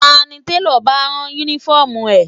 Èló ni télọ̀ bá ẹ rán Únífọ́ọ̀mù rẹ?